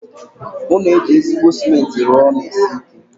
Ụlọ eji ezigbo cement rụọ na-esi ike.